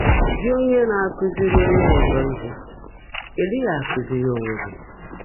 “Gị́ ónyé ná-ákụ́zị́rí ónyé ọ́zọ́ íhe, ị́ ḍị́ghị́ ákụ́zị́rí óńwé gị́?”